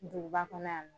Duguba kɔnɔ yan